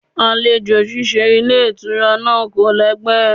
Àlejò ṣíṣe ilé ìtura náà kò lẹ́gbẹ́.